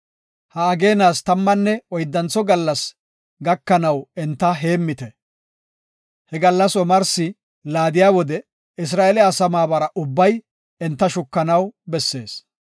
Ha ageenas tammanne oyddantho gallas gakanaw enta heemmite. He gallas omarsi laadiya wode Isra7eele asaa maabara ubbay enta shukanaw bessees.